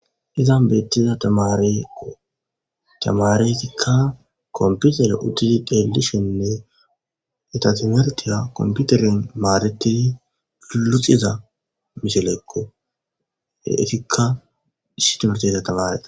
Izan beettiza tamarekko tamareikka komputere uddidi deelishenne etatimertiya komputeren maareti luxiza miselekko etikka sitemerteta tamare